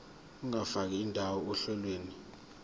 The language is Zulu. ungafaka indawo ohlelweni